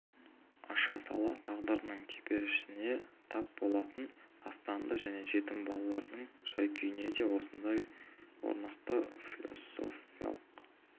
аша сала тағдырдың теперішіне тап болатын тастанды және жетім балалардың жай-күйіне де осындай орнықты философиялық